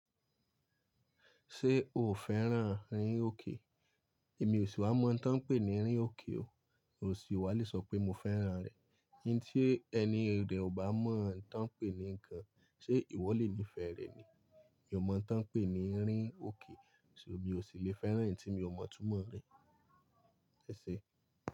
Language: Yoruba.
Ṣé o ò fẹ́ràn rín òkè? Èmi ò sì wá mọ̀ tán pè ní rín òkè o. Mi ò sì wálé sọ pé mo fẹ́ràn rẹ̀. Ǹtí ẹni rẹ̀ ò bá mọ̀ án tán pè ní nǹkan, ṣé ìwọ lè níìfẹ̀ẹ́ rẹ̀ ni? Mi ò mọ̀ tán pè ní rín òkè, ṣùgbọ́n mi ò sì lè fẹ́ràn ì tí mi ò mọ̀ túmọ̀ rẹ̀. Ẹ̀ṣẹ̀.